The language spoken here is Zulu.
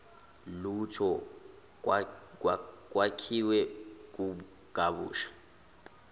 lutho kwakhiwe kabusha